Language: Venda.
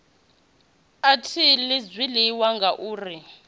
a thi ḽi zwiḽiwa ngauri